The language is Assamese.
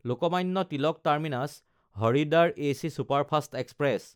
Lokmanya Tilak টাৰ্মিনাছ–হৰিদ্বাৰ AC superfast express